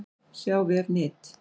sjá vef NYT